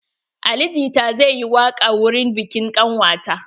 Ali jita zai yi waƙa wurin biƙin ƙanwata.